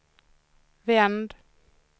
vänd